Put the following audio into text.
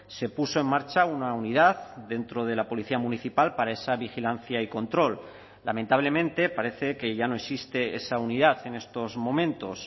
se puso en marcha una unidad dentro de la policía municipal para esa vigilancia y control lamentablemente parece que ya no existe esa unidad en estos momentos